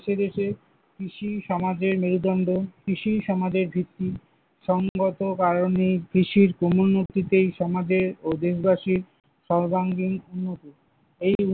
দেশে দেশে কৃষিই সমাজের মেরুদণ্ড, কৃষিই সমাজের ভিত্তি, সংগত কারণেই কৃষির ক্রমন্নতিতেই সমাজের ও দেশবাসীর সর্বাঙ্গীণ উন্নতি, এই উন্নতিতে।